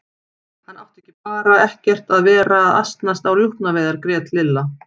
Hann átti bara ekkert að vera að asnast á rjúpnaveiðar grét Lilla.